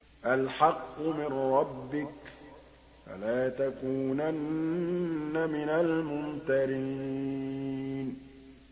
الْحَقُّ مِن رَّبِّكَ ۖ فَلَا تَكُونَنَّ مِنَ الْمُمْتَرِينَ